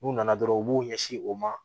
N'u nana dɔrɔn u b'u ɲɛsin o ma